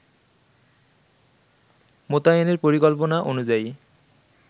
মোতায়েনের পরিকল্পনা অনুযায়ী